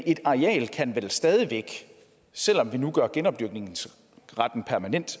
et areal kan vel stadig væk selv om vi nu gør genopdyrkningsretten permanent